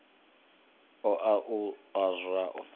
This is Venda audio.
o a u a zwavhu